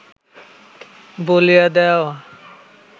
বলিয়া দেওয়া